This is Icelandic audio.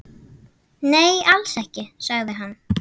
Nei, alls ekki, sagði hann.